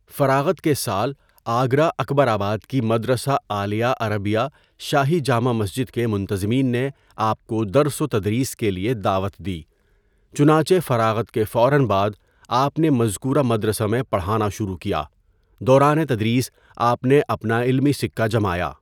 فراغت کےسال آگرہ اکبرآباد کی مدرسہ عالیہ عربیہ شاہی جامع مسجد کے منتظمین نے آپ کو درس وتدریس کے لئے دعوت دی، چنانچہ فراغت کےفوراً بعد آپ نے مذکورہ مدرسہ میں پڑھانا شروع کیا، دوران تدریس آپ نے اپناعلمی سکہ جمایا.